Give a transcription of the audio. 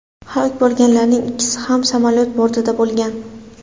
Halok bo‘lganlarning ikkisi ham samolyot bortida bo‘lgan.